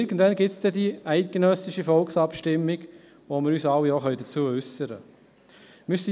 Irgendwann wird die eidgenössische Volksabstimmung stattfinden, sodass wir uns dazu werden äussern können.